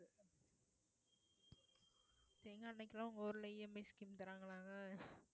தேங்காய் எண்ணெய்க்கெல்லாம் உங்க ஊர்ல EMI scheme தர்றாங்களாங்க